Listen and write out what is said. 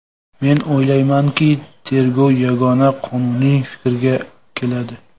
Men o‘ylaymanki, tergov yagona qonuniy fikrga keladi.